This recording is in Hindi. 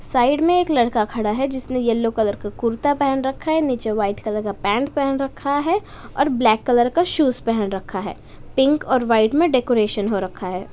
साइड में एक लड़का खड़ा है जिसने येलो कलर का कुर्ता पहन रखा है। नीचे व्हाइट कलर का पैंट पहन रखा है और ब्लैक कलर का शूज पहन रखा है पिंक और व्हाइट में डेकोरेशन हो रखा है।